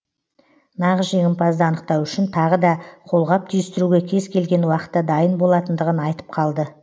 нағыз жеңімпазды анықтау үшін тағы да қолғап түйістіруге кез келген уақытта дайын болатындығын айтып қалды